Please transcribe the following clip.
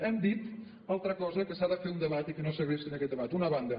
hem dit una altra cosa que s’ha de fer un debat i que no segrestin aquest debat per una banda